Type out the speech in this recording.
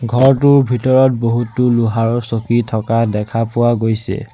ঘৰটোৰ ভিতৰত বহুতো লোহাৰৰ চকী থকা দেখা পোৱা গৈছে।